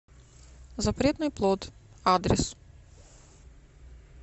запретный плод адрес